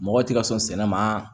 Mɔgɔ tɛ ka sɔn sɛnɛ ma